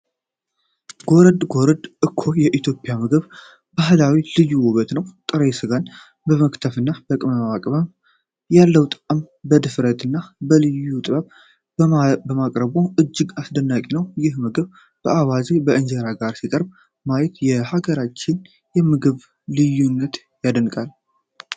ጎረድ ጎረድ እኮ የኢትዮጵያ የምግብ ባህል ልዩ ውበት ነው! ጥሬ ስጋን በመክተፍና በቅመም በመቀመም ያለውን ጣዕም በድፍረትና በልዩ ጥበብ ማቅረቡ እጅግ አስደናቂ ነው። ይህን ምግብ ከአዋዜና ከእንጀራ ጋር ሲቀርብ ማየት የሀገራችንን የምግብ ልዩነት አደንቃለሁ።